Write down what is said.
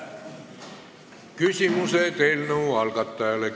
Küsimused eelnõu algatajale.